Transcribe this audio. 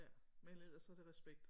Ja men ellers så er det respekt